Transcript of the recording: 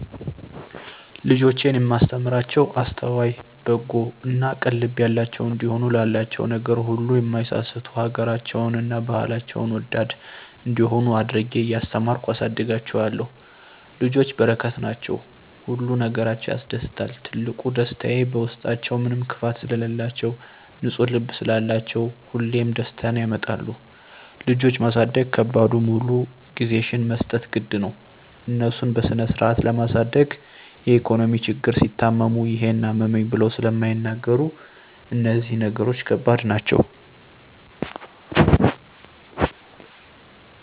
ልጆቼን እማስተምራቸዉ አስተዋይ፣ በጎ እና ቅን ልብ ያላቸዉ እንዲሆኑ፣ ላላቸዉ ነገር ሁሉ እማይሳስቱ፣ ሀገራቸዉን እና ባህላቸዉን ወዳድ እንዲሆነ አድርጌ እያስተማርኩ አሳድጋቸዋለሁ። ልጆች በረከት ናቸዉ። ሁሉ ነገራቸዉ ያስደስታል ትልቁ ደስታየ በዉስጣችዉ ምንም ክፋት ስለላቸዉ፣ ንፁ ልብ ስላላቸዉ ሁሌም ደስታን ያመጣሉ። ልጆች ማሳደግ ከባዱ ሙሉ ጊዜሽን መስጠት ግድ ነዉ፣ እነሱን በስነስርአት ለማሳደግ የኢኮኖሚ ችግር፣ ሲታመሙ ይሄን አመመኝ ብለዉ ስለማይናገሩ እነዚህ ነገሮች ከባድ ናቸዉ።